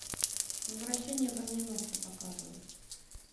возвращение броненосца показывай